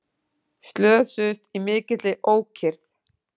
Slösuðust í mikilli ókyrrð